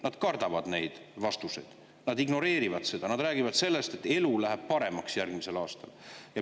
Nad kardavad neid vastuseid, nad ignoreerivad seda, nad räägivad sellest, et elu läheb järgmisel aastal paremaks.